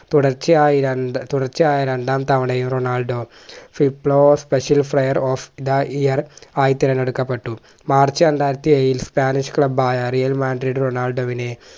തുടർച്ചയായി രണ്ട് തുടർച്ചയായ രണ്ടാം തവണയും Ronaldo fiplo special player of the year ആയി തിരഞ്ഞെടുക്കപ്പെട്ടു മാർച്ച് രണ്ടായിരത്തിയേഴിൽ spanish club ആയ realmandrid റൊണാൾഡോ വിനെ